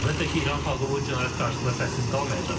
Əlbəttə ki, İran xalqı bu cinayət qarşısında səssiz qalmayacaq.